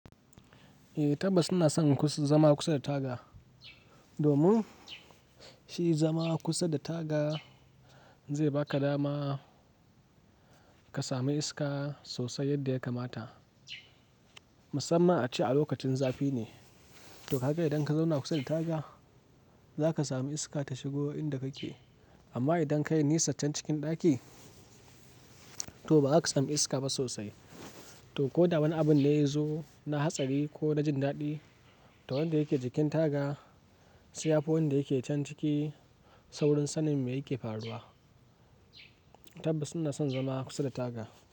Eh tabbas suna son zama kusa da taga. Domin shi zama kusa da taga zai baka dama ka sami iska sosai yadda ya kamata. Musamman a ci a lokacin zafi ne. To haka idan ka zauna kusa da taga zaka sami iska ta shigo inda kake. Amma idan ka yi nisaccen cikin ɗaki to ba zaka sami iska ba sosai. To ko da wani abun da ya zo na hatsari ko na jin daɗi, to wanda yake jikin taga sai ya fi wanda yake can ciki saurin sanin me yake faruwa. Tabbas suna son zama kusa da taga.